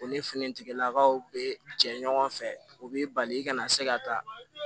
U ni finitigilakaw bɛ jɛ ɲɔgɔn fɛ o bɛ bali i kana se ka taa